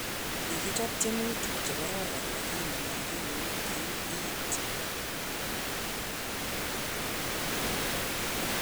kokichop tiemutik chekoron lakini makimuch ke ib iit